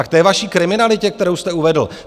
A k té vaší kriminalitě, kterou jste uvedl.